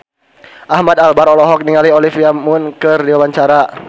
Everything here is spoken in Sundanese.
Ahmad Albar olohok ningali Olivia Munn keur diwawancara